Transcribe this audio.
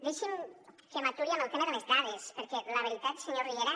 deixi’m que m’aturi en el tema de les dades perquè la veritat senyor riera